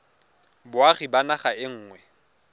boagi ba naga e nngwe